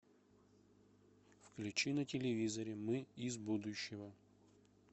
включи на телевизоре мы из будущего